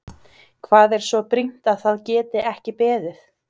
Hvað er svo brýnt að það geti ekki beðið?